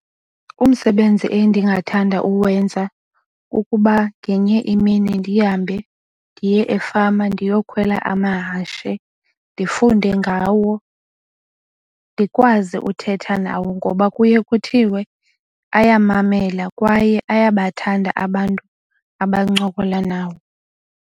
Umsebenzi endingathanda uwenza kukuba ngenye imini ndihambe ndiye efama ndiyokhwela amahashe, ndifunde ngawo, ndikwazi uthetha nawo ngoba kuye kuthiwe ayamamela kwaye ayabathanda abantu abancokola nawo.